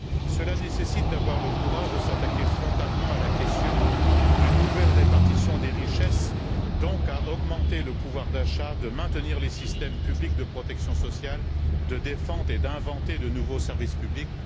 Cela nécessite d'avoir le courage de s'attaquer frontalement à la question d'une nouvelle répartition des richesses, et, partant, d'augmenter le pouvoir d'achat, de maintenir les systèmes publics de protection sociale, de défendre et d'inventer de nouveaux services publics